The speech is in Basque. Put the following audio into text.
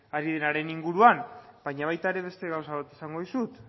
inguruan baina baita ere beste gauza bat esango dizut